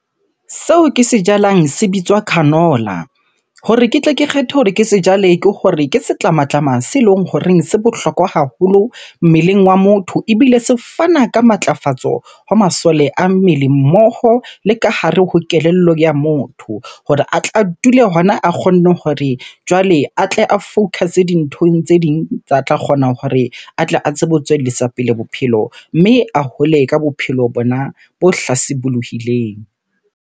Seo ke se jalang se bitswa canola. Hore ke tle ke kgethe hore ke se jale, ke hore ke setlamatlama se leng horeng se bohlokwa haholo mmeleng wa motho ebile se fana ka matlafatso ho masole a mmele mmoho le ka hare ho kelello ya motho. Hore a tla dule hona a kgonne hore jwale a tle a focus-e dinthong tse ding tsa tla kgona hore a tle a tsebe ho tswellisa pele bophelo. Mme a hole ka bophelo bona bo hlasibulohileng.